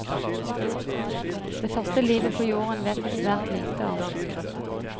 Det første livet på jorden vet vi svært lite om.